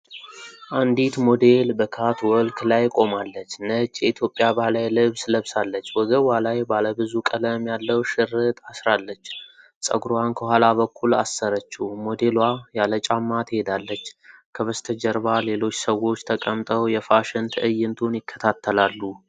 አንዲት ሞዴል በካትወልክ ላይ ቆማለች። ነጭ የኢትዮጵያ ባህላዊ ልብስ ለብሳለች። ወገቧ ላይ ባለ ብዙ ቀለም ያለው ሽርጥ አስራለች። ፀጉሯን ከኋላ በኩል አሰረችው። ሞዴሏ ያለ ጫማ ትሄዳለች። ከበስተጀርባ ሌሎች ሰዎች ተቀምጠው የፋሽን ትዕይንቱን ይከታተላሉ።